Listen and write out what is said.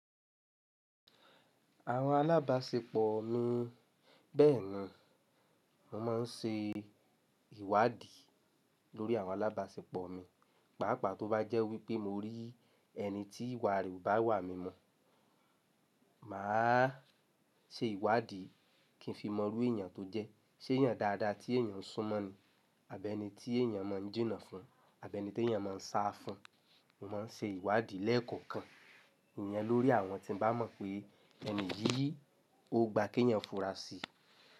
Àwọn alábàṣepọ̀ mi, bẹ́ẹ̀ni mò maa ń ṣe ìwádìí lórí àwọn alábàṣepọ̀ mi, pàápàá tó bá jẹ́ wípé mo rí ẹni tí ìwà re o bá iwà mímu, màá ṣe ìwádìí kí n fi mọ rú èèyàn tó jẹ́, ṣé èèyàn dáadáa tí èèyàn ń sún mọ́ ni? Àbí ẹni tí èèyàn má ń jìnnà fun? Àbí ẹni tí èèyàn má ń sá fún? Mo ń ṣe ìwádìí lẹ́ẹ̀kọ̀kan ìyen lórí àwọn tí n bá mọ̀ pé ẹni yìí ó gba kí èèyàn fura síi.